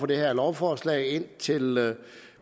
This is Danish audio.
det her lovforslag indtil